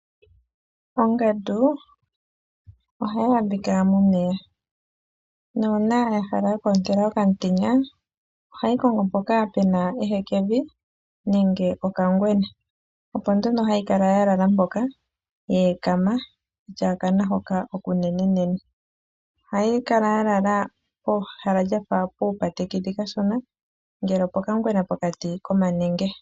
Ongandu ohayi adhika momeya, nuuna ya hala oku otela okamutenya ohayi kongo mpoka pena ehekevi nenge oka ngwena, opo nduno hayi kala ya lala mpoka yeekama yatya okana hoka okunenene. Ohayi kala ya lala pehala lyafa puupatekedhi kashona, nge opoka ngwena nenge pokati komanenge.